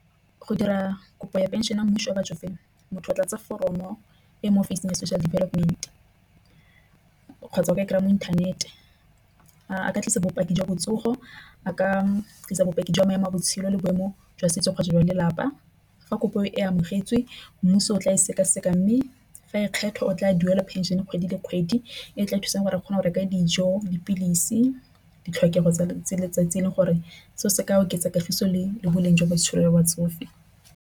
Go dira kopo ya phenšene ya mmuso batsofeng motho o tlatse foromo e mo offising ya social development, kgotsa o ka e kry-a mo inthanete ka tlisa bopaki jwa botsogo a ka tlisa bopaki jwa maemo a botshelo le boemo jwa setso kgotsa jwa lelapa. Fa kopo e amogetswe mmuso o tla e sekaseka mme fa e kgetha o tla duela phenšene kgwedi le kgwedi e tla thusang gore a kgone go reka dijo, dipilisi ditlhokego tsa letsatsi le gore seo se ka oketsa kagiso leng le boleng jwa botshelo jwa batsofe.